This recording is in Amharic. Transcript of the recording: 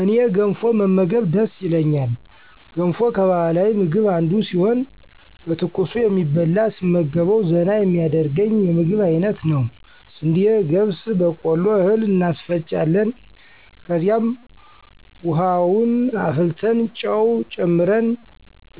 እኔ ገንፎ መመገብ ደስ ይለኛል ገንፎ ከባህላዊ ምግብ አንዱ ሲሆን በትኩሱ የሚበላ ስመገበዉ ዘና የሚያደርገኝ የምግብ አይነት ነዉ። ስንዴ፣ ገብስ፣ በቆሎ እህል እናስፈጫለን ከዚያም፦ ዉሀዉን አፍልተን ጨዉ ጨምረን